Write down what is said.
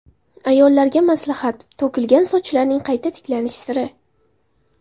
Ayollarga maslahat: to‘kilgan sochlarning qayta tiklanish siri.